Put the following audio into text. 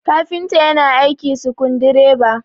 kafinta yana aiki sukundi reba